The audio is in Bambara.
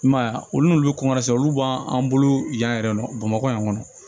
I m'a ye a olu n'olu kɔɔna sera olu b'an bolo yan yɛrɛ bamakɔ yan kɔni